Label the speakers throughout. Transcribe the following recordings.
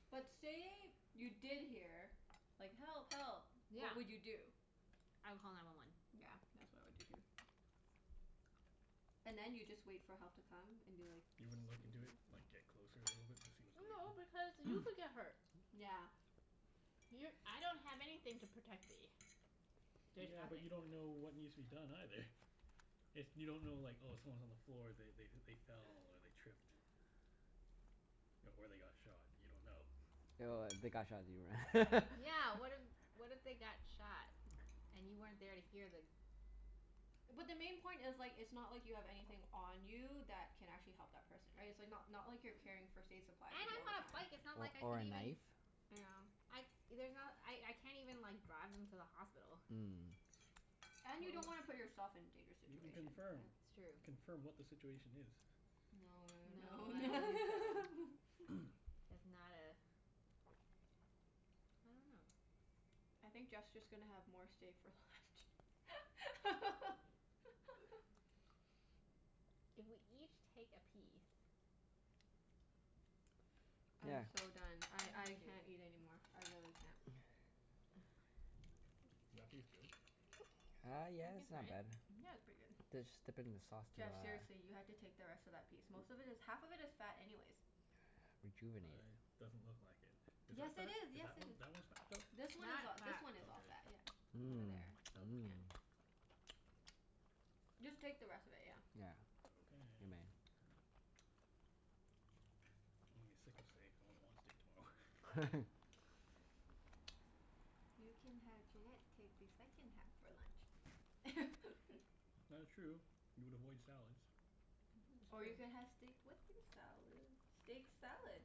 Speaker 1: But say you did hear like, "Help! Help!"
Speaker 2: Yeah.
Speaker 1: What would you do?
Speaker 2: I would call nine one one.
Speaker 1: Yeah. That's what I would do, too. And then you just wait for help to come and be like
Speaker 3: You
Speaker 1: "It's
Speaker 3: wouldn't
Speaker 1: coming
Speaker 3: look into
Speaker 1: from there."
Speaker 3: it? Like, get closer a little bit to see what's going
Speaker 2: No,
Speaker 3: on?
Speaker 2: because you could get hurt.
Speaker 1: Yeah.
Speaker 2: You're, I don't have anything to protect me. There's
Speaker 3: Yeah, but you
Speaker 2: nothing.
Speaker 3: don't know what needs to be done, either. If you don't know like, oh someone's on the floor. They they they fell, or they tripped. Or they got shot. You don't know.
Speaker 2: But Yeah, what if what if they got shot? And you weren't there to hear the
Speaker 1: But the main point is like, it's not like you have anything on you that can actually help that person. Right? It's like not not like you're carrying first aid supplies
Speaker 2: And
Speaker 1: with you all
Speaker 2: I'm
Speaker 1: the
Speaker 2: on a bike.
Speaker 1: time.
Speaker 2: It's not like I
Speaker 4: O- or
Speaker 2: could
Speaker 4: a
Speaker 2: even
Speaker 4: knife.
Speaker 1: Yeah.
Speaker 2: I, there's not, I I can't even like, drive them to the hospital.
Speaker 4: Mm.
Speaker 1: And you
Speaker 2: Wha-
Speaker 1: don't wanna
Speaker 2: wha-
Speaker 1: put yourself in dangerous
Speaker 3: You can
Speaker 1: situation.
Speaker 2: That's
Speaker 1: Yeah.
Speaker 3: confirm.
Speaker 2: true.
Speaker 3: Confirm what the situation is.
Speaker 1: No no no
Speaker 2: No, I don't think so.
Speaker 1: no.
Speaker 2: That's not a I dunno.
Speaker 1: I think Jeff's just gonna have more stay for left.
Speaker 2: If we each take a piece
Speaker 1: I'm
Speaker 4: Yeah.
Speaker 1: so done.
Speaker 2: See
Speaker 1: I
Speaker 2: if you
Speaker 1: I
Speaker 2: can do it.
Speaker 1: can't eat anymore. I really can't.
Speaker 3: Is that piece good?
Speaker 4: Uh, yeah,
Speaker 2: I can
Speaker 4: it's
Speaker 2: try
Speaker 4: not
Speaker 2: it.
Speaker 4: bad.
Speaker 1: Yeah, it's pretty
Speaker 4: Just dip it in the
Speaker 1: good.
Speaker 4: sauce to uh
Speaker 1: Jeff, seriously, you have to take the rest of that piece. Most of it is, half of it is fat anyways.
Speaker 4: rejuvenate
Speaker 3: I, doesn't look like it.
Speaker 4: it.
Speaker 3: Is
Speaker 1: Yes,
Speaker 3: that
Speaker 1: it
Speaker 3: fat?
Speaker 1: is.
Speaker 3: Is
Speaker 1: Yes,
Speaker 3: that
Speaker 1: it
Speaker 3: one,
Speaker 1: is.
Speaker 3: that one's fat, though?
Speaker 1: This one is
Speaker 2: That
Speaker 1: a- this
Speaker 2: fat.
Speaker 1: one is all fat,
Speaker 3: Okay.
Speaker 1: yeah. Over there,
Speaker 3: Hmm.
Speaker 1: so yeah.
Speaker 4: Mmm. Mmm.
Speaker 1: Just take the rest of it, yeah.
Speaker 4: Yeah.
Speaker 3: Okay.
Speaker 4: You may.
Speaker 3: I'm gonna be sick of steak. I won't want steak tomorrow.
Speaker 1: You can have Junette take the second half for lunch.
Speaker 3: That is true. You would avoid salads.
Speaker 2: It's
Speaker 1: Or you could
Speaker 2: true.
Speaker 1: have steak with your salad? Steak salad.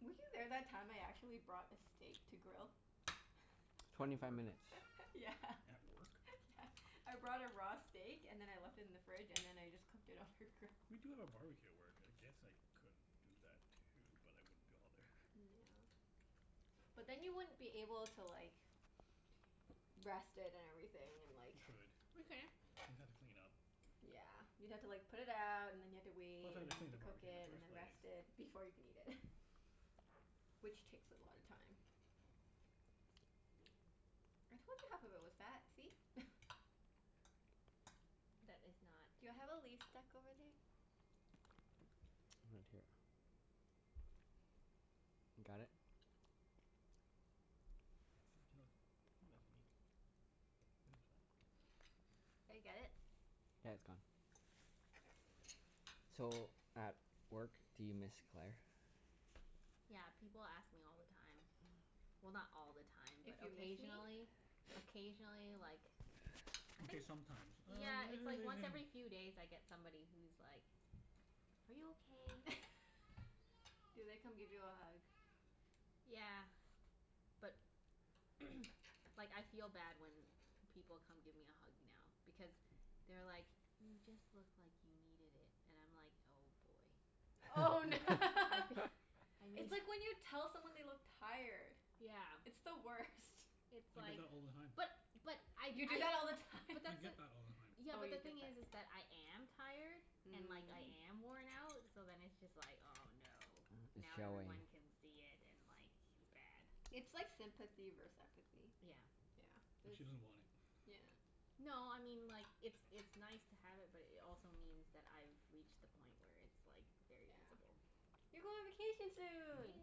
Speaker 1: Were you there that time I actually brought a steak to grill?
Speaker 3: At
Speaker 4: Twenty five
Speaker 3: work?
Speaker 4: minutes.
Speaker 1: Yeah.
Speaker 3: At work?
Speaker 1: Yeah. I brought a raw steak and then I left it in the fridge, and then I just cooked it on her grill.
Speaker 3: We do have a barbecue at work. I guess I could do that too, but I wouldn't be all there.
Speaker 1: Yeah. But then you wouldn't be able to like rest it and everything, and like
Speaker 3: You could.
Speaker 2: We can.
Speaker 3: You'd have to clean up.
Speaker 1: Yeah. You'd have to like put it out, and then you'd have to
Speaker 3: Plus
Speaker 1: wait,
Speaker 3: I'd have
Speaker 1: and
Speaker 3: to
Speaker 1: then you'd
Speaker 3: clean
Speaker 1: have
Speaker 3: the
Speaker 1: to cook
Speaker 3: barbecue
Speaker 1: it,
Speaker 3: in the
Speaker 1: and
Speaker 3: first
Speaker 1: then
Speaker 3: place.
Speaker 1: rest it before you can eat it. Which takes a lot of time. I told you half of it was fat, see?
Speaker 2: That is not
Speaker 1: Do I have a leaf stuck over there?
Speaker 4: Right here.
Speaker 3: Can't tell, I think that's meat. It was fine.
Speaker 1: Did I get
Speaker 4: Got
Speaker 1: it?
Speaker 4: it? Yeah, it's gone. So, at work do you miss Claire?
Speaker 2: Yeah, people ask me all the time. Well, not all the time, but
Speaker 1: If you miss me?
Speaker 2: occasionally. Occasionally, like I
Speaker 3: Okay,
Speaker 2: think
Speaker 3: sometimes.
Speaker 2: Yeah,
Speaker 3: Uh
Speaker 2: it's like once every few days I get somebody who's like "Are you okay?"
Speaker 1: Do they come give you a hug?
Speaker 2: Yeah. But like, I feel bad when people come give me a hug now. Because they're like "You just look like you needed it." And I'm like, oh boy.
Speaker 1: Oh
Speaker 2: I fee- I
Speaker 1: It's
Speaker 2: need
Speaker 1: like when you tell someone they look tired.
Speaker 2: Yeah.
Speaker 1: It's the worst.
Speaker 2: It's
Speaker 3: I get
Speaker 2: like
Speaker 3: that all the time.
Speaker 2: But but I
Speaker 1: You do
Speaker 2: usually
Speaker 1: that all the time?
Speaker 2: but
Speaker 3: I
Speaker 2: that's the
Speaker 3: get that all the time.
Speaker 2: Yeah,
Speaker 1: Oh,
Speaker 2: but
Speaker 1: you
Speaker 2: the
Speaker 1: get
Speaker 2: thing is is
Speaker 1: that.
Speaker 2: that I am tired. And like, I
Speaker 1: Mm.
Speaker 2: am worn out. So then it's just like, oh no.
Speaker 4: It's
Speaker 2: Now
Speaker 4: showing.
Speaker 2: everyone can see it, and like it's bad.
Speaker 1: It's like sympathy vers- empathy.
Speaker 2: Yeah.
Speaker 1: Yeah,
Speaker 3: And
Speaker 1: this
Speaker 3: she doesn't want it.
Speaker 1: Yeah.
Speaker 2: No, I mean like It's it's nice to have it, but it also means that I've reached the point where it's like, very
Speaker 1: Yeah.
Speaker 2: visible.
Speaker 1: You go on vacation soon!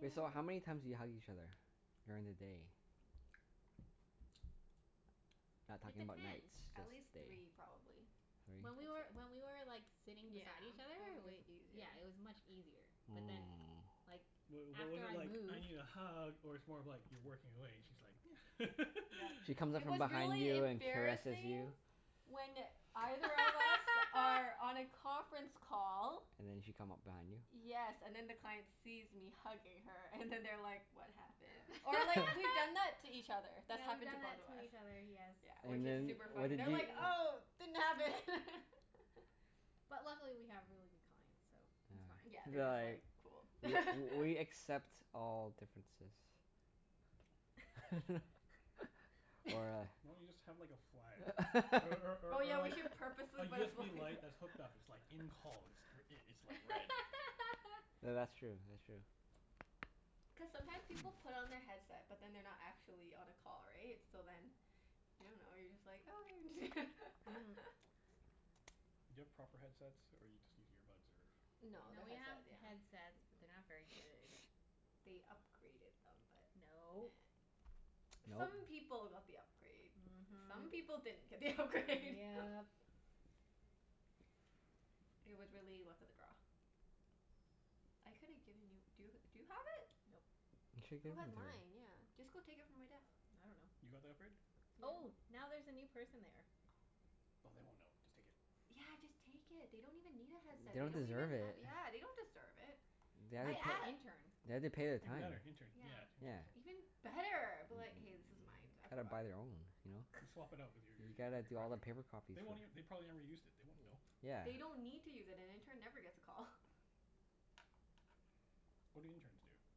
Speaker 4: Wait, so how many times do you hug each other? During the day. Not
Speaker 2: It
Speaker 4: talking about nights.
Speaker 2: depends.
Speaker 4: Just
Speaker 1: At
Speaker 4: day.
Speaker 1: least three,
Speaker 4: Three?
Speaker 1: probably. I'd
Speaker 2: When we were,
Speaker 1: say.
Speaker 2: when we were like, sitting
Speaker 1: Yeah.
Speaker 2: beside each other,
Speaker 1: It was
Speaker 2: it was
Speaker 1: way
Speaker 2: yeah,
Speaker 1: easier.
Speaker 2: it was much easier. But then,
Speaker 4: Mm.
Speaker 2: like
Speaker 3: Wait, what was
Speaker 2: after
Speaker 3: it
Speaker 2: I
Speaker 3: like, "I
Speaker 2: moved
Speaker 3: need a hug?" Or it's more of like you're working away and she's like
Speaker 1: Yep.
Speaker 4: She comes up
Speaker 1: It
Speaker 4: from
Speaker 1: was
Speaker 4: behind
Speaker 1: really
Speaker 4: you and caresses
Speaker 1: embarrassing
Speaker 4: you.
Speaker 1: when either of us are on a conference call
Speaker 4: And then she'd come up behind you?
Speaker 1: Yes, and then the client sees me hugging her, and then they're like "What happened?" Or like, we've done that to each other. That's
Speaker 2: Yeah, we've
Speaker 1: happened to
Speaker 2: done
Speaker 1: both
Speaker 2: that
Speaker 1: of
Speaker 2: to
Speaker 1: us.
Speaker 2: each other. Yes.
Speaker 1: Yeah, which
Speaker 4: And
Speaker 1: is
Speaker 4: then
Speaker 1: super
Speaker 4: what
Speaker 1: funny.
Speaker 4: did
Speaker 1: They're
Speaker 4: you
Speaker 1: like, "Oh, didn't happen!"
Speaker 2: But luckily we have really good clients, so it's
Speaker 1: Yeah,
Speaker 4: Yeah,
Speaker 2: fine.
Speaker 1: they're
Speaker 4: they're
Speaker 1: just like,
Speaker 4: like,
Speaker 1: "Cool."
Speaker 4: "W- we accept all differences." Or
Speaker 3: Why don't you just
Speaker 4: a
Speaker 3: have like a flag? Or or
Speaker 1: Oh,
Speaker 3: or
Speaker 1: yeah,
Speaker 3: or
Speaker 1: we
Speaker 3: like
Speaker 1: should
Speaker 3: A
Speaker 1: purposefully put a fla-
Speaker 3: USB light that's hooked up. It's like, "In call." It's gr- i- it's like red.
Speaker 4: Th- that's true, that's true.
Speaker 1: Cuz sometime people put on their headset but then they're not actually on a call, right? So then you don't know, you're just like, "Oh, there it is."
Speaker 2: Mhm.
Speaker 3: Do you have proper headsets, or you just use earbuds, or
Speaker 1: No,
Speaker 2: No,
Speaker 1: they're
Speaker 2: we have
Speaker 1: headset, yeah.
Speaker 2: headsets but they're not very good.
Speaker 1: They upgraded them but, nah.
Speaker 2: No.
Speaker 4: No?
Speaker 1: Some people got the upgrade. Some
Speaker 2: Mhm.
Speaker 1: people didn't get the upgrade.
Speaker 2: Yep.
Speaker 1: It was really luck of the draw. I coulda given you, do y- do you have it?
Speaker 2: Nope.
Speaker 4: You should've
Speaker 1: Who
Speaker 4: given
Speaker 1: had
Speaker 4: it to her.
Speaker 1: mine? Yeah. Just go take it from my desk.
Speaker 2: I dunno.
Speaker 3: You got the upgrade?
Speaker 2: Oh,
Speaker 1: Yeah.
Speaker 2: now there's a new person there.
Speaker 1: Oh.
Speaker 3: Oh, they won't know. Just take it.
Speaker 1: Yeah, just take it. They don't even need a headset. They
Speaker 4: Don't
Speaker 1: don't even
Speaker 4: deserve
Speaker 1: have
Speaker 4: it.
Speaker 1: Yeah, they don't deserve it.
Speaker 4: They
Speaker 2: I
Speaker 4: have
Speaker 1: I
Speaker 4: to
Speaker 2: think it's an
Speaker 1: a-
Speaker 4: pa-
Speaker 2: intern.
Speaker 4: they have to pay their
Speaker 3: Even
Speaker 4: time.
Speaker 3: better. Intern.
Speaker 1: Yeah.
Speaker 3: Yeah,
Speaker 4: Yeah.
Speaker 3: interns
Speaker 1: Even
Speaker 3: don't
Speaker 1: better. Be like, "Hey, this is mine. I
Speaker 4: Gotta
Speaker 1: forgot
Speaker 4: buy
Speaker 1: it."
Speaker 4: their own, you know?
Speaker 3: Just swap it out with your
Speaker 4: You
Speaker 3: your your
Speaker 4: gotta
Speaker 3: your
Speaker 4: do all the
Speaker 3: crappy one.
Speaker 4: paper copies
Speaker 3: They
Speaker 4: for
Speaker 3: won't
Speaker 4: it.
Speaker 3: ev- they probably never used it. They won't know.
Speaker 4: Yeah.
Speaker 1: They don't need to use it. An intern never gets a call.
Speaker 3: What do interns do?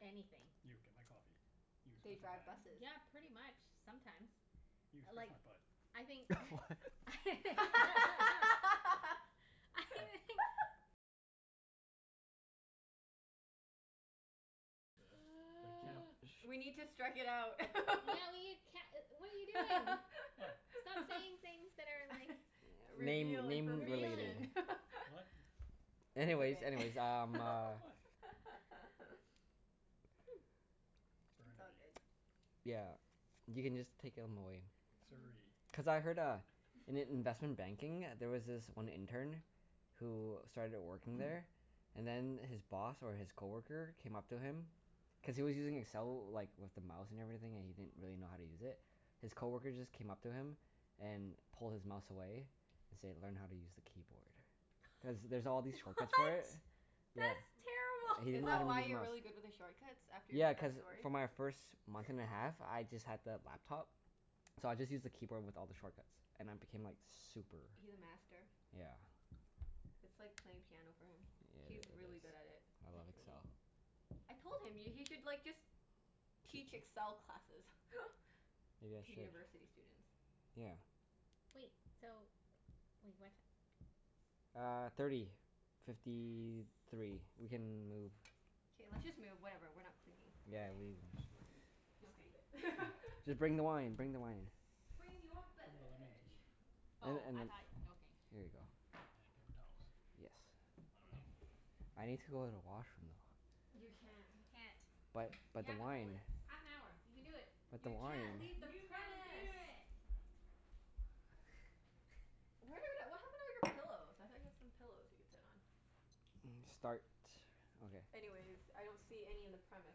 Speaker 2: Anything.
Speaker 3: You, get my coffee. You,
Speaker 1: They
Speaker 3: scratch my
Speaker 1: drive
Speaker 3: back.
Speaker 1: buses.
Speaker 2: Yeah, pretty much. Sometimes.
Speaker 3: You,
Speaker 2: I
Speaker 3: scratch
Speaker 2: like
Speaker 3: my butt.
Speaker 2: I think
Speaker 4: What?
Speaker 2: I
Speaker 3: The the camp
Speaker 1: We need to strike it out.
Speaker 2: Yeah we can't e- what are you doing?
Speaker 3: What?
Speaker 2: Stop saying things that are like
Speaker 4: Name
Speaker 1: Reveal
Speaker 4: naming
Speaker 2: revealing.
Speaker 1: information.
Speaker 3: What?
Speaker 1: It's
Speaker 4: Anyways,
Speaker 1: okay.
Speaker 4: anyways, um uh
Speaker 3: What?
Speaker 1: It's all
Speaker 3: Burnaby.
Speaker 1: good.
Speaker 4: Yeah. You can just take 'em away.
Speaker 1: Mhm.
Speaker 3: Surrey.
Speaker 4: Cuz I heard uh, in i- investment banking there was this one intern who started working there and then his boss or his coworker came up to him cuz he was using Excel like, with the mouse and everything, and he didn't really know how to use it. His coworker just came up to him and pulled his mouse away and said, "Learn how to use the keyboard." Cuz there's all these shortcuts for it.
Speaker 2: What?
Speaker 4: Yeah.
Speaker 2: That's
Speaker 4: He did
Speaker 1: Is
Speaker 4: it
Speaker 1: that
Speaker 4: all
Speaker 2: terrible.
Speaker 4: with
Speaker 1: why
Speaker 4: a
Speaker 1: you're
Speaker 4: mouse.
Speaker 1: really good with the shortcuts? After you
Speaker 4: Yeah,
Speaker 1: heard
Speaker 4: cuz
Speaker 1: that story?
Speaker 4: for my first month and a half, I just had the laptop. So I just used the keyboard with all the shortcuts. And I became like super
Speaker 1: He's a master.
Speaker 4: Yeah.
Speaker 1: It's like playing piano for him.
Speaker 4: Yeah, it
Speaker 1: He's really good at
Speaker 4: is.
Speaker 1: it.
Speaker 4: I
Speaker 2: I
Speaker 1: It's
Speaker 4: love
Speaker 2: see.
Speaker 1: crazy.
Speaker 4: Excel.
Speaker 1: I told him, y- he should like just teach Excel classes.
Speaker 4: Maybe I
Speaker 1: To
Speaker 4: should.
Speaker 1: university students.
Speaker 4: Yeah.
Speaker 2: Wait, so Wait, what ti-
Speaker 4: Uh, thirty fifty three. We
Speaker 2: Yes.
Speaker 4: can move.
Speaker 1: K, let's just move. Whatever, we're not cleaning
Speaker 4: Yeah,
Speaker 1: today.
Speaker 4: leave this sh-
Speaker 1: Just leave
Speaker 2: Okay.
Speaker 1: it.
Speaker 4: Just bring the wine.
Speaker 3: Mhm.
Speaker 4: Bring the wine.
Speaker 1: Bring your
Speaker 3: Bring the lemon
Speaker 1: beverage.
Speaker 3: tea.
Speaker 4: And
Speaker 2: Oh,
Speaker 4: and
Speaker 2: I
Speaker 4: then
Speaker 2: thought, okay.
Speaker 4: Here you go.
Speaker 3: And paper towels.
Speaker 4: Yes.
Speaker 3: I
Speaker 1: Okay.
Speaker 2: Okay.
Speaker 3: dunno.
Speaker 4: I need to go to the washroom though.
Speaker 1: You can't.
Speaker 2: You can't.
Speaker 4: But
Speaker 2: You
Speaker 4: but the
Speaker 2: have to hold
Speaker 4: wine.
Speaker 2: it. Half an hour. You can do it.
Speaker 4: But the
Speaker 1: You can't
Speaker 4: wine.
Speaker 1: leave the
Speaker 2: You can do
Speaker 1: premise.
Speaker 2: it.
Speaker 1: Where the w- d- what happened to all your pillows? I thought you had some pillows we could sit on?
Speaker 4: Mm, start. Okay.
Speaker 1: Anyways, I don't see any in the premise.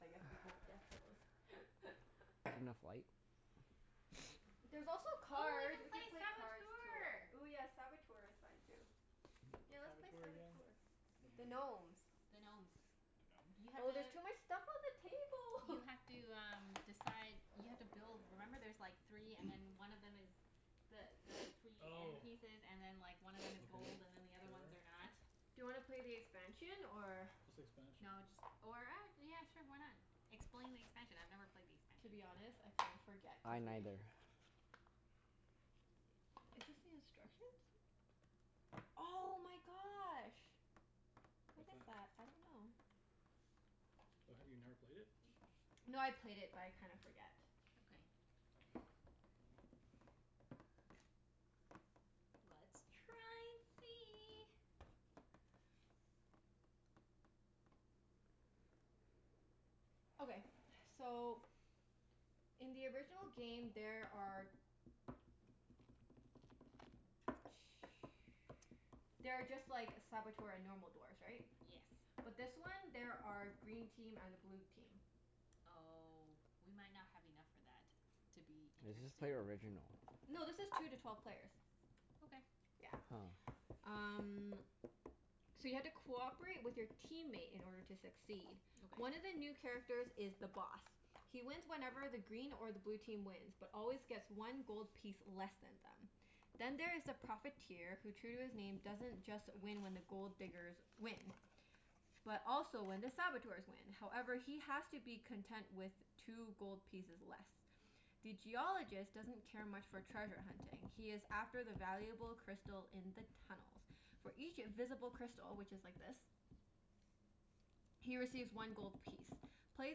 Speaker 1: I guess we won't get pillows.
Speaker 4: There enough light?
Speaker 3: Nope.
Speaker 1: There's also
Speaker 2: Oh, we
Speaker 1: cards.
Speaker 2: can
Speaker 1: We
Speaker 2: play
Speaker 1: could play cards, tour
Speaker 2: Saboteur!
Speaker 1: Ooh yeah, Saboteur is fun too. Yeah,
Speaker 3: What's
Speaker 1: let's play
Speaker 3: Saboteur again?
Speaker 1: Saboteur.
Speaker 3: Don't
Speaker 1: The
Speaker 3: remember it.
Speaker 1: gnomes.
Speaker 2: The gnomes.
Speaker 3: The
Speaker 2: You
Speaker 3: gnomes?
Speaker 2: have
Speaker 1: Oh, there's
Speaker 2: to
Speaker 1: too much stuff on the
Speaker 2: You
Speaker 1: table.
Speaker 2: have to um, decide You have to build, remember there's like three and then one of them is the the three end
Speaker 3: Oh.
Speaker 2: pieces and then like, one of them
Speaker 3: Okay.
Speaker 2: is gold and then the other ones
Speaker 3: Sure.
Speaker 2: are not.
Speaker 1: Do you wanna play the expansion, or
Speaker 3: What's the expansion?
Speaker 2: No, just or ac- yeah sure, why not? Explain the expansion. I've never played the
Speaker 1: To
Speaker 2: expansion.
Speaker 1: be honest, I kinda forget
Speaker 4: I
Speaker 1: cuz we
Speaker 4: neither.
Speaker 1: Is this the instructions? Oh my gosh. What
Speaker 3: What's
Speaker 1: is that?
Speaker 3: that?
Speaker 1: I don't know.
Speaker 3: Oh, have you never played it?
Speaker 1: No, I played it but I kinda forget.
Speaker 2: Okay. Let's try and see.
Speaker 1: Okay. So in the original game there are there are just like Saboteur and normal dwarfs, right?
Speaker 2: Yes.
Speaker 1: But this one there are green team and a blue team.
Speaker 2: Oh, we might not have enough for that. To be
Speaker 4: Let's just
Speaker 2: interesting.
Speaker 4: play original.
Speaker 1: No, this is two to twelve players.
Speaker 2: Okay.
Speaker 1: Yeah.
Speaker 4: Oh.
Speaker 1: Um So you have to cooperate with your teammate in order to succeed.
Speaker 2: Okay.
Speaker 1: One of the new characters is The Boss. He wins whenever the green or the blue team wins but always gets one gold piece less than them. Then there is The Profiteer who, true to his name, doesn't just win when the Gold Diggers win. But also when the Saboteurs win. However, he has to be content with two gold pieces less. The Geologist doesn't care much for treasure hunting. He is after the valuable crystal in the tunnels. For each visible crystal, which is like this. He receives one gold piece. Play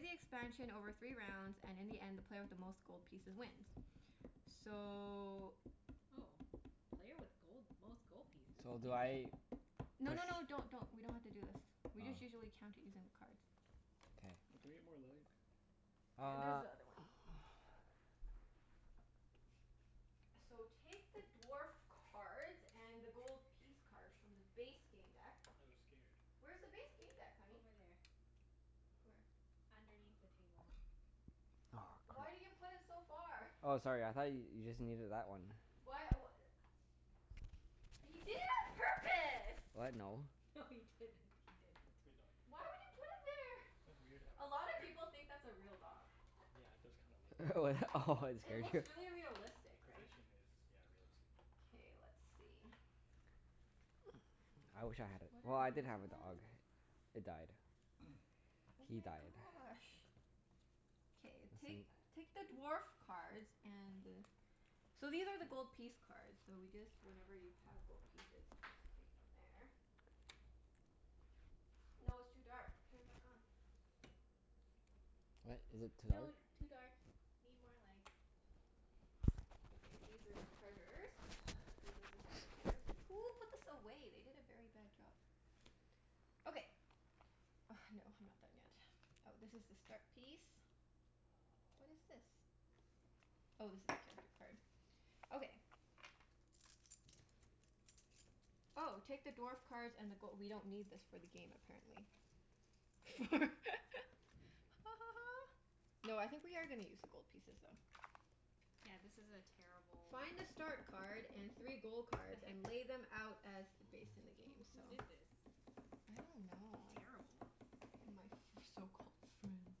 Speaker 1: the expansion over three rounds, and in the end the player with the most gold pieces wins. So
Speaker 2: Oh. Player with gold, most gold pieces?
Speaker 4: So do I
Speaker 2: Interesting.
Speaker 1: No
Speaker 4: push
Speaker 1: no no, don't don't. We don't have to do this. We just
Speaker 4: Oh.
Speaker 1: usually count it using the cards.
Speaker 4: Okay.
Speaker 3: Oh, can we get more light?
Speaker 1: There's
Speaker 4: Uh
Speaker 1: the other one. So, take the dwarf cards and the gold piece cards from the base game deck.
Speaker 3: I was scared.
Speaker 1: Where's the base game deck, honey?
Speaker 2: Over there.
Speaker 1: Where?
Speaker 2: Underneath the table.
Speaker 4: Oh,
Speaker 1: Why
Speaker 4: crap.
Speaker 1: did you put it so far?
Speaker 4: Oh, sorry. I thought y- you just needed that one.
Speaker 1: Why w- a- He did it on purpose!
Speaker 4: What? No.
Speaker 2: No, he didn't. He didn't.
Speaker 3: Good doggie.
Speaker 1: Why would you put it there?
Speaker 3: That's weird to have a
Speaker 1: A
Speaker 3: dog
Speaker 1: lot of
Speaker 3: there.
Speaker 1: people think that's a real dog.
Speaker 3: Yeah, it does kinda look
Speaker 4: Oh, that? Oh, it
Speaker 1: It
Speaker 4: scared
Speaker 1: looks
Speaker 4: you.
Speaker 1: really realistic, right?
Speaker 3: Position is, yeah, realistic.
Speaker 1: K, let's see.
Speaker 4: I wish I had a,
Speaker 1: What
Speaker 4: well,
Speaker 1: are
Speaker 4: I
Speaker 1: these
Speaker 4: did have a dog.
Speaker 1: again?
Speaker 4: It died.
Speaker 1: Oh
Speaker 4: He
Speaker 1: my
Speaker 4: died.
Speaker 1: gosh. K,
Speaker 4: I see.
Speaker 1: take take the dwarf cards and the So these are the gold piece cards, so we just, whenever you have gold pieces you just take from there. No, it's too dark. Turn it back on.
Speaker 4: What? Is it too dark?
Speaker 2: No, too dark. Need more light.
Speaker 1: Okay, these are the treasures. These are ze Saboteurs. Who put this away? They did a very bad job. Okay. Oh, no, I'm not done yet. Oh, this is the start piece. What is this? Oh, this is character card. Okay. Oh, take the dwarf cards and the go- we don't need this for the game, apparently. For Ha ha ha. No, I think we are gonna use the gold pieces though.
Speaker 2: Yeah, this is a terrible
Speaker 1: Find a start card and three gold cards and lay them out as based in the game.
Speaker 2: Who
Speaker 1: So
Speaker 2: who did this?
Speaker 1: I don't know, I
Speaker 2: Terrible.
Speaker 1: My f- my so-called friends.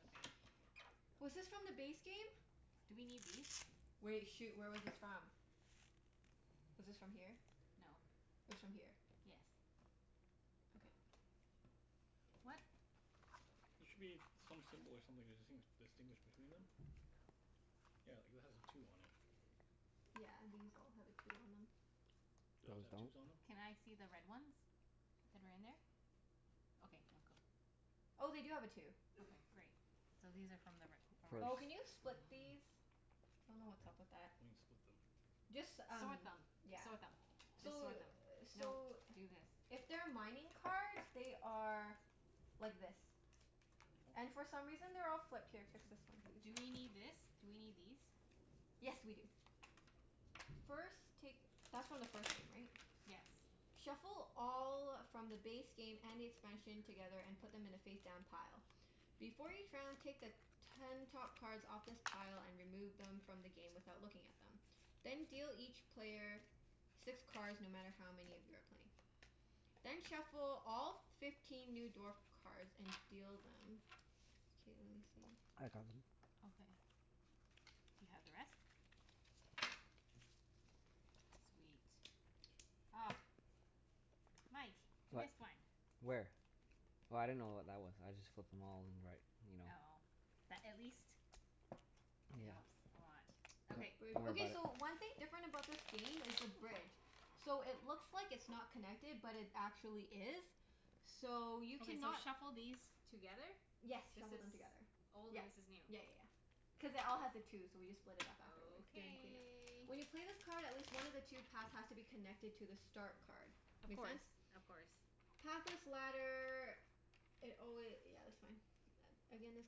Speaker 2: Okay.
Speaker 1: Was this from the base game?
Speaker 2: Do we need these?
Speaker 1: Wait. Shoot, where was this from? Was this from here?
Speaker 2: No.
Speaker 1: It was from here.
Speaker 2: Yes.
Speaker 1: Okay.
Speaker 2: What?
Speaker 3: There should be some symbol or something to distinguish distinguish between them. Yeah, like that has a two on it.
Speaker 1: Yeah, these all have a two on them.
Speaker 3: Do those
Speaker 4: Those
Speaker 3: have
Speaker 4: don't?
Speaker 3: twos on them?
Speaker 2: Can I see the red ones? That are in there? Okay. No, go.
Speaker 1: Oh, they do have a two.
Speaker 2: Okay, great. So these are from the re-
Speaker 1: Oh,
Speaker 2: original.
Speaker 1: can you
Speaker 4: First.
Speaker 1: split these? I dunno what's up with that.
Speaker 3: What do you mean, split them?
Speaker 1: Just
Speaker 2: S-
Speaker 1: um,
Speaker 2: sort them.
Speaker 1: yeah.
Speaker 2: Sort
Speaker 3: Oh.
Speaker 2: them. Just
Speaker 1: So
Speaker 2: sort them. No,
Speaker 1: so
Speaker 2: do this.
Speaker 1: If they're mining cards, they are like this. And
Speaker 3: Oh.
Speaker 1: for some reason they're all flipped. Here, fix this one too.
Speaker 2: Do we need this? Do we need these?
Speaker 1: Yes, we do. First, take That's from the first game, right?
Speaker 2: Yes.
Speaker 1: Shuffle all from the base game and the expansion together, and put them in a face-down pile. Before each round, take the ten top cards off this pile and remove them from the game without looking at them. Then deal each player six cards, no matter how many of you are playing. Then shuffle all f- fifteen new dwarf cards and deal them. K, let me see.
Speaker 4: I got them.
Speaker 2: Okay. Do you have the rest? Sweet. Ah. Mike. You
Speaker 4: What?
Speaker 2: missed one.
Speaker 4: Where? Oh, I didn't know what that was. I just flipped them all in the right, you know?
Speaker 2: Oh. That at least it
Speaker 4: Yeah.
Speaker 2: helps a lot.
Speaker 1: Ooh,
Speaker 4: Yeah,
Speaker 2: Okay.
Speaker 1: bridge.
Speaker 4: don't worry
Speaker 1: Okay, so
Speaker 4: about it.
Speaker 1: one thing different about this game is the bridge. So, it looks like it's not connected but it actually is. So, you
Speaker 2: Okay, so
Speaker 1: cannot
Speaker 2: shuffle these together?
Speaker 1: Yes,
Speaker 2: This
Speaker 1: shuffle them
Speaker 2: is
Speaker 1: together.
Speaker 2: old
Speaker 1: Yep.
Speaker 2: and this is
Speaker 1: Yeah
Speaker 2: new.
Speaker 1: yeah yeah. Cuz it all has a two, so we just split it up afterward during clean-up.
Speaker 2: Okay.
Speaker 1: When you play this card at least one of the two paths has to be connected to the start card.
Speaker 2: Of
Speaker 1: Make
Speaker 2: course.
Speaker 1: sense?
Speaker 2: Of course.
Speaker 1: Pathless ladder It alwa- yeah, that's fine. A- again, this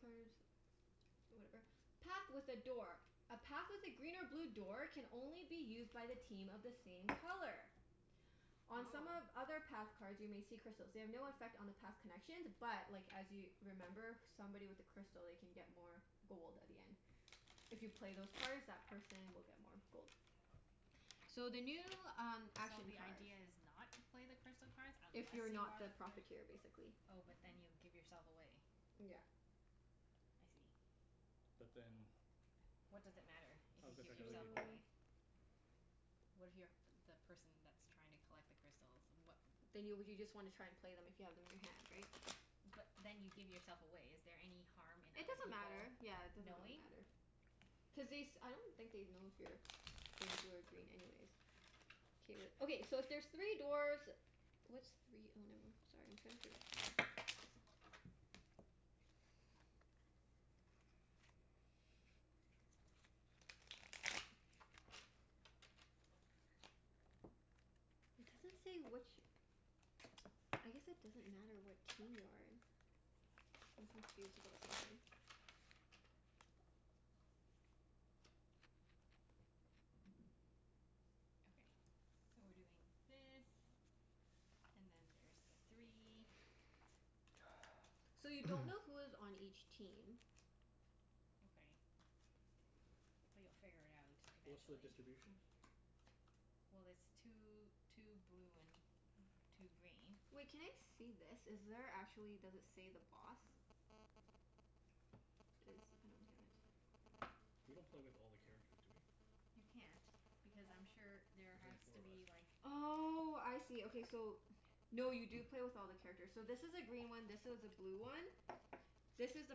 Speaker 1: card Whatever. Path with a door. A path with a green or blue door can only be used by the team of the same color. On some of
Speaker 2: Oh.
Speaker 1: other path cards you may see crystals. They have no affect on the path connections but like, as you remember somebody with a crystal, they can get more gold at the end. If you play those cards that person will get more gold. So, the new um
Speaker 2: So
Speaker 1: action
Speaker 2: the
Speaker 1: cards.
Speaker 2: idea is not to play the crystal cards unless
Speaker 1: If
Speaker 2: you
Speaker 1: you're not
Speaker 2: are
Speaker 1: the
Speaker 2: the pr-
Speaker 1: Profiteer, basically.
Speaker 2: Oh, but then you give yourself away.
Speaker 1: Yeah.
Speaker 2: I see.
Speaker 3: But then how
Speaker 2: What does it matter if you
Speaker 3: does it
Speaker 2: give
Speaker 3: affect other
Speaker 2: yourself
Speaker 3: people?
Speaker 1: So
Speaker 2: away? What if you're a p- the person that's trying to collect the crystals? What
Speaker 1: Then you w- you just wanna try and play them if you have them in your hand, right?
Speaker 2: But then you give yourself away. Is there any harm in
Speaker 1: It
Speaker 2: other
Speaker 1: doesn't
Speaker 2: people
Speaker 1: matter. Yeah, it doesn't really
Speaker 2: knowing?
Speaker 1: matter. Cuz they s- I don't think they'd know if you're being blue or green anyways. K, wait. Okay, so if there's three dwarfs What's three oh, nevermi- Sorry, I'm trying to figure out
Speaker 3: Jaw jaw jaw.
Speaker 1: It doesn't say which I guess it doesn't matter what team you're in. I'm confused about something.
Speaker 2: Okay. So, we're doing this and then there's the three.
Speaker 1: So, you don't know who is on each team.
Speaker 2: Okay. But you'll figure it out
Speaker 3: What's the
Speaker 2: eventually.
Speaker 3: distribution?
Speaker 2: Well it's two two blue and two green.
Speaker 1: Wait, can I see this? Is there actually, does it say the Boss? This, I don't get it.
Speaker 3: We don't play with all the characters, do we?
Speaker 2: You can't. Because I'm sure there
Speaker 3: There's only
Speaker 2: has
Speaker 3: four
Speaker 2: to
Speaker 3: of us.
Speaker 2: be like
Speaker 1: Oh, I see. Okay, so No, you do play with all the characters. So this is a green one, this is a blue one. This is the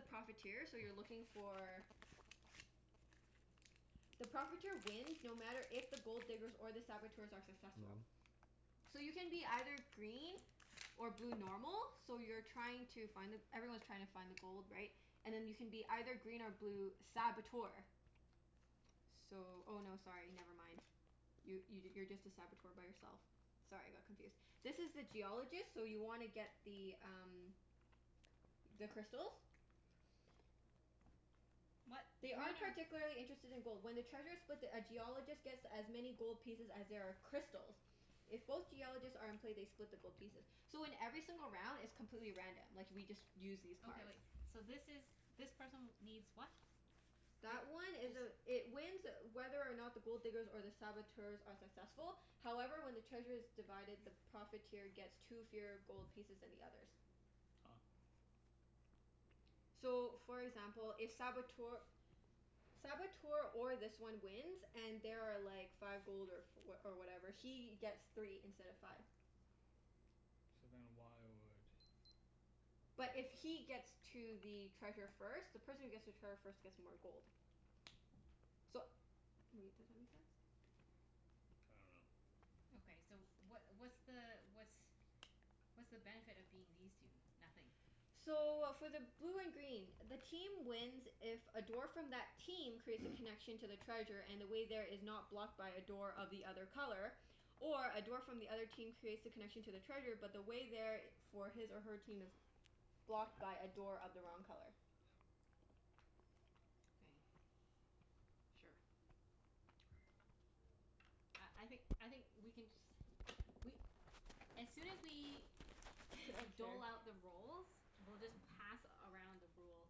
Speaker 1: Profiteer, so you're looking for The Profiteer wins no matter if the Gold Diggers or the Saboteurs are successful. So you can be either green or blue normal. So you're trying to find the, everyone's trying to find the gold, right? And then you can be either green or blue Saboteur. So, oh no, sorry, never mind. You y- you're just a Saboteur by yourself. Sorry, I got confused. This is the Geologist, so you wanna get the um the crystals.
Speaker 2: What?
Speaker 1: They
Speaker 2: They are
Speaker 1: aren't
Speaker 2: no
Speaker 1: particularly interested in gold. When the treasure's split, the a Geologist gets as many gold pieces as there are crystals. If both Geologists are in play, they split the gold pieces. So, in every single round it's completely random. Like, we just use these cards.
Speaker 2: Okay, wait. So this is, this person needs what?
Speaker 1: That one
Speaker 2: It,
Speaker 1: is a
Speaker 2: this
Speaker 1: It wins whether or not the Gold Diggers or the Saboteurs are successful. However, when the treasure's divided, the Profiteer gets two fewer gold pieces than the others.
Speaker 3: Ah.
Speaker 1: So, for example, if Saboteur Saboteur or this one wins and there are like five gold or f- oh or whatever he gets three instead of five.
Speaker 3: So, then why would oh, I
Speaker 1: But
Speaker 3: don't know.
Speaker 1: if he gets to the treasure first The person who gets to trevor first gets more gold. So wait, does that make sense?
Speaker 3: I dunno.
Speaker 2: Okay, so what what's the what's what's the benefit of being these two? Nothing?
Speaker 1: So, for the blue and green the team wins if a dwarf from that team creates a connection to the treasure and the way there is not blocked by a door of the other color. Or a dwarf from the other team creates the connection to the treasure but the way there i- for his or her team is blocked by a door of the wrong color.
Speaker 2: Okay. Sure. Uh, I think I think we can just we as soon as we dole out the roles we'll just pass around the rule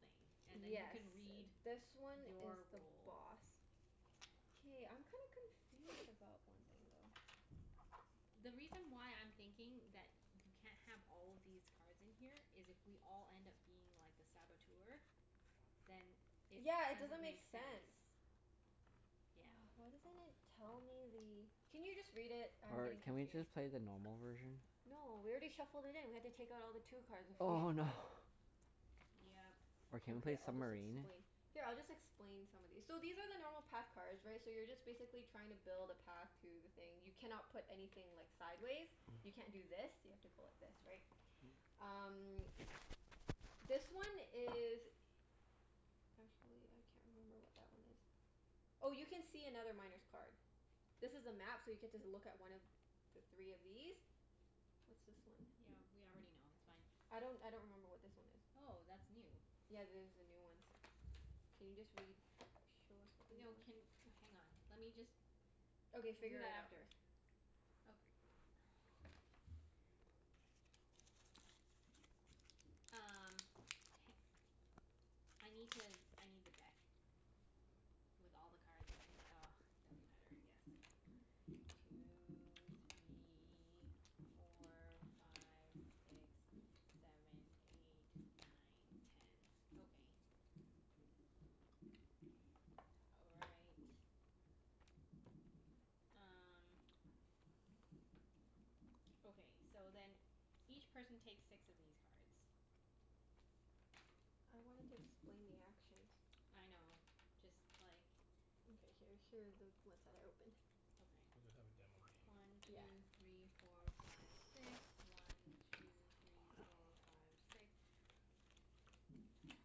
Speaker 2: thing. And then you
Speaker 1: Yes,
Speaker 2: can read
Speaker 1: this one is
Speaker 2: your
Speaker 1: the
Speaker 2: role.
Speaker 1: Boss. K, I'm kinda confused about one thing though.
Speaker 2: The reason why I'm thinking that you c- can't have all these cards in here is if we all end up being like, the Saboteur then it
Speaker 1: Yeah, it doesn't
Speaker 2: doesn't
Speaker 1: make
Speaker 2: make
Speaker 1: sense.
Speaker 2: sense. Yeah.
Speaker 1: Oh, why doesn't it tell me the Can you just read it? I'm
Speaker 4: Or
Speaker 1: getting
Speaker 4: can we
Speaker 1: confused.
Speaker 4: just play the normal version?
Speaker 1: No, we already shuffled it in. We have to take out all the two cards if we
Speaker 4: Oh no.
Speaker 2: Yep.
Speaker 4: Or can we
Speaker 1: Okay,
Speaker 4: play
Speaker 1: I'll just
Speaker 4: submarine?
Speaker 1: explain Here, I'll just explain some of these. So, these are the normal path cards right? So you're just basically trying to build a path to the thing. You cannot put anything like, sideways. You can't do this. You have to go like this, right? Um this one is Actually, I can't remember what that one is. Oh, you can see another Miner's card. This is a map so you get to z- look at one of the three of these. What's this one?
Speaker 2: Yeah, we already know. That's fine.
Speaker 1: I don't I don't remember what this one is.
Speaker 2: Oh, that's new.
Speaker 1: Yeah, there's the new ones. Can you just read Show us what the new
Speaker 2: No,
Speaker 1: ones
Speaker 2: can, hang on. Let me just
Speaker 1: Okay,
Speaker 2: We'll do
Speaker 1: figure
Speaker 2: that
Speaker 1: it out
Speaker 2: after.
Speaker 1: first.
Speaker 2: Oka- Um, h- I need to, I need the deck. With all the cards in it. Doesn't matter I guess. Two three four five six seven eight nine ten. Okay. All right. Um Okay, so then each person takes six of these cards.
Speaker 1: I wanted to explain the actions.
Speaker 2: I know. Just like
Speaker 1: Okay. Here here are the ones that I opened.
Speaker 2: Okay.
Speaker 3: We'll just have a demo game.
Speaker 2: One
Speaker 1: Yeah.
Speaker 2: two three four five six. One two three four five six. One two three four five six.